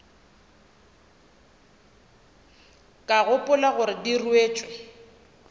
ka gopola gore di ruetšwe